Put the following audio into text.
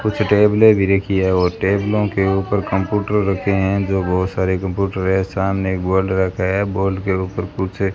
कुछ टेबले भी रखी है और टेबलो के ऊपर कंप्यूटर रखे हैं जो बहोत सारे कंप्यूटर हैं सामने एक बॉल रखा है बॉल के ऊपर कुछ --